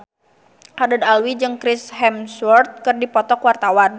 Haddad Alwi jeung Chris Hemsworth keur dipoto ku wartawan